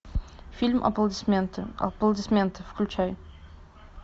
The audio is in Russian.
фильм аплодисменты аплодисменты включай